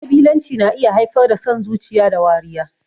Ƙabilanci na iya haifar da son zuciya da wariya.